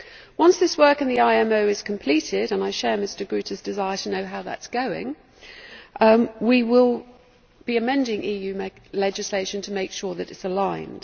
Once this work in the IMO is completed and I share Mr Groote's desire to know how that is going we will be amending EU legislation to make sure that it is aligned.